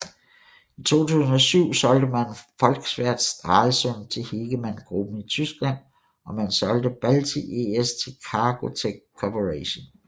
I 2007 solgte man Volkswerft Stralsund til Hegemann Gruppen i Tyskland og man solgte Balti ES til Cargotec Corporation